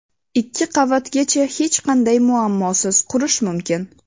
Ikki qavatgacha hech qanday muammosiz qurish mumkin.